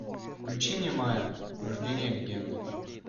включи мне майя рождение легенды